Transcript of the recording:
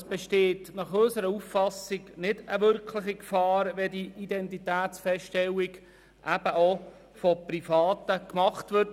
Unseres Erachtens besteht keine wirkliche Gefahr, wenn die Identitätsfeststellung auch durch Private gemacht wird.